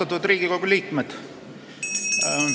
Austatud Riigikogu liikmed!